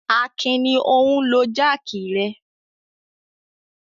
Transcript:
Akin ni ó ń lo jáákì rẹ.